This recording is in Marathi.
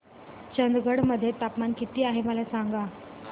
चंदगड मध्ये तापमान किती आहे मला सांगा